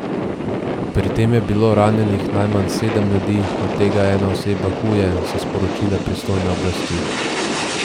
Pri tem je bilo ranjenih najmanj sedem ljudi, od tega ena oseba huje, so sporočile pristojne oblasti.